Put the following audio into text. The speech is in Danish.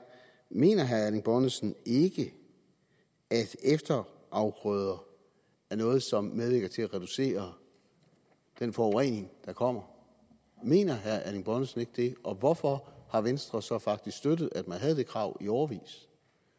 mener herre erling bonnesen ikke at efterafgrøder er noget som medvirker til at reducere den forurening der kommer mener herre erling bonnesen ikke det og hvorfor har venstre så faktisk støttet at man havde det krav i årevis